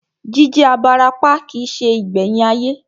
Jí jẹ́ abarapá kìí se ìgbẹ̀yìn ayé